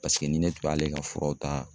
Paseke ni ne tun b'ale ka furaw ta